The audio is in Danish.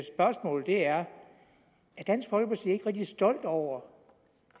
er dansk folkeparti ikke rigtig stolt over